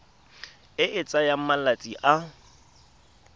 e e tsayang malatsi a